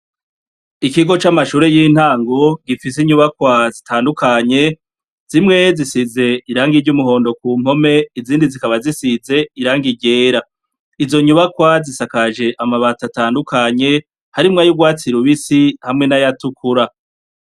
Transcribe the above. Ikigo c'amashure y'intango, gifise inyubakwa zitandukanye. Zimwe zisize irangi ry'umuhondo ku mpome, izindi zikaba zisize irangi ryera. Izo nyubakwa zisakaje amabati atandukanye, harimwo ay'urwatsi rubisi, hamwe n'ayatukura.